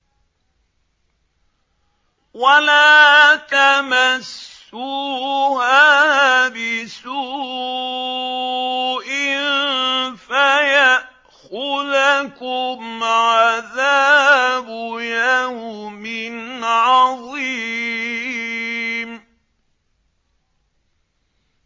وَلَا تَمَسُّوهَا بِسُوءٍ فَيَأْخُذَكُمْ عَذَابُ يَوْمٍ عَظِيمٍ